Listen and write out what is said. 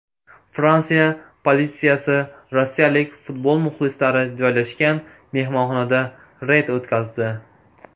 Fransiya politsiyasi rossiyalik futbol muxlislari joylashgan mehmonxonada reyd o‘tkazdi.